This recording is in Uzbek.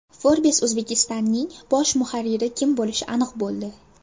Forbes Uzbekistan’ning bosh muharriri kim bo‘lishi aniq bo‘ldi.